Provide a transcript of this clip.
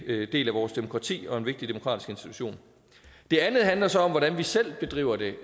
del af vores demokrati og en vigtig demokratisk institution det andet handler så om hvordan vi selv bedriver det